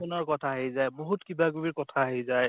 নৰ কথা আহি যায়, বহুত কিবা কিবিৰ কথা আহি যায়